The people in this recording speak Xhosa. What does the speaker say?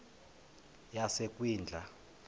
yasekwindla